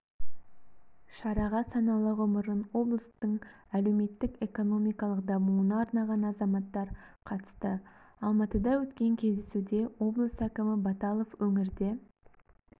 шараға саналы ғұмырын облыстың әлеуметтік-экономикалық дамуына арнаған азаматтар қатысты алматыда өткен кездесуде облыс әкімі баталов өңірде